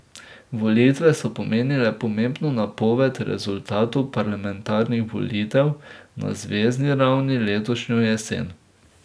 Volitve so pomenile pomembno napoved rezultatov parlamentarnih volitev na zvezni ravni letošnjo jesen.